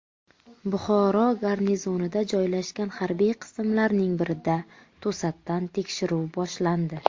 Buxoro garnizonida joylashgan harbiy qismlarning birida to‘satdan tekshiruv boshlandi .